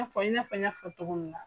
Na fɔ, i nafɔ n y'a fɔ cogo min na.